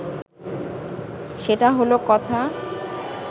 সেটা হলো কথা